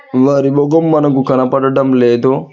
వారి ముఖం మనకు కనపడటం లేదు.